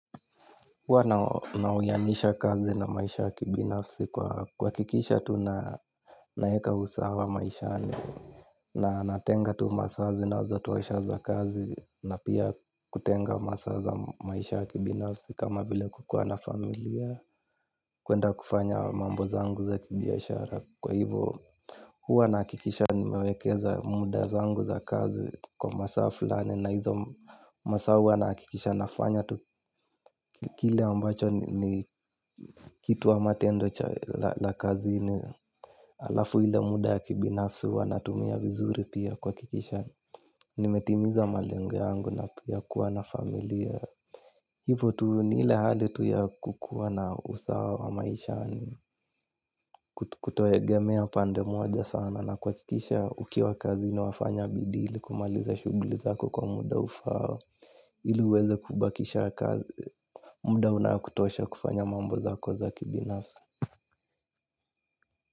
Huwa na uyanisha kazi na maisha ya kibinafsi kwa kuhakikisha tu naweka usawa maishani. Na natenga tu masaa zinazotosha za kazi na pia kutenga masaa za maisha ya kibinafsi kama vile kukuwa na familia. Kuenda kufanya mambo zangu za kibiashara kwa hivo huwa nahakikisha nimewekeza muda zangu za kazi kwa masaa fulani na hizo masaa huwa nahakikisha nafanya tu. Kile ambacho ni kitu ama tendo cha la kazini alafu ile muda ya kibinafsi huwa natumia vizuri pia kuhakikisha nimetimiza malengo yangu na pia kuwa na familia. Hivo tu ni ile hali tu ya kukuwa na usawa wa maisha ni kutoegemea pande moja sana. Na kuhakikisha ukiwa kazini wafanya bidii ili kumaliza shughuli zako kwa muda ufaao ili uweze kubakisha kazi. Muda unaokutosha kufanya mambo zako za kibinafsi.